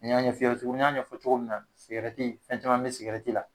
N y'a ɲɛ fiyɛ tugu n y'a ɲɛf'i ye cogo min na sigɛrɛti fɛn caman be sigɛrɛti la